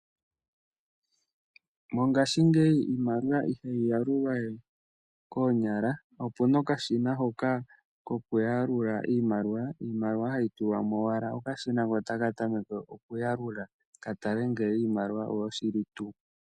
Mongashingeyi iimaliwa ihayi yalulwa we koonyala oku na okashina hoka kokuyalula iimaliwa. Iimaliwa hayi tulwa mo owala okashina ko otaka tameke okuyalula ka tale ngele iimaliwa oyo shili tuu.